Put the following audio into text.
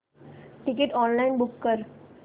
ticket online book कर